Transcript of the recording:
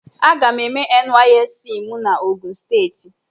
Aga m eme nysc m n'ogun steeti.